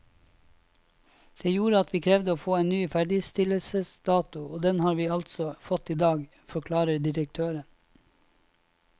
Det gjorde at vi krevde å få en ny ferdigstillelsesdato, og den har vi altså fått i dag, forklarer direktøren.